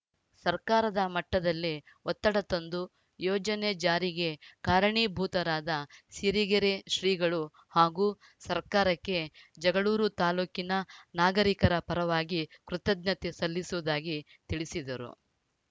ಸರ್ಕಾರದ ಮಟ್ಟದಲ್ಲಿ ಒತ್ತಡ ತಂದು ಯೋಜನೆ ಜಾರಿಗೆ ಕಾರಣೀಭೂತರಾದ ಸಿರಿಗೆರೆ ಶ್ರೀಗಳು ಹಾಗೂ ಸರ್ಕಾರಕ್ಕೆ ಜಗಳೂರು ತಾಲೂಕಿನ ನಾಗರಿಕರ ಪರವಾಗಿ ಕೃತಜ್ಞತೆ ಸಲ್ಲಿಸುವುದಾಗಿ ತಿಳಿಸಿದರು